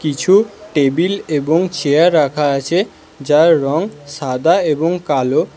কিছু টেবিল এবং চেয়ার রাখা আছে যার রং সাদা এবং কালো।